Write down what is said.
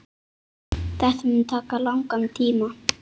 Þetta mun taka langan tíma.